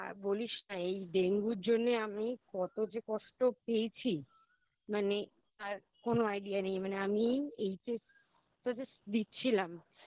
আর বলিস না এই ডেঙ্গুর জন্য আমি কত যে কষ্ট পেয়েছি মানে আর কোনো Idea নেই মানে আমি HS টা Just দিচ্ছিলাম